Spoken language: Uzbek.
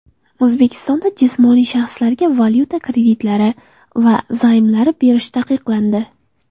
O‘zbekistonda jismoniy shaxslarga valyuta kreditlari va zaymlari berish taqiqlandi .